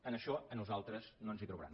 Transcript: en això a nosaltres no ens hi trobarà